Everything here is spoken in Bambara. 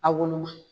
A woloma